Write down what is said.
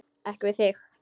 Ekki við þig.